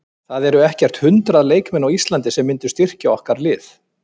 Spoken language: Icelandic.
Það eru ekkert hundrað leikmenn á Íslandi sem myndu styrkja okkar lið.